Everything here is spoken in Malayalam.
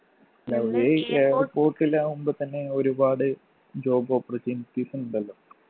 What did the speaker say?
airport ൽ ആവുമ്പൊ തന്നെ ഒരുപാട് job opportunities ഉണ്ടല്ലോ